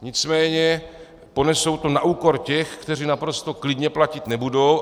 Nicméně ponesou to na úkor těch, kteří naprosto klidně platit nebudou.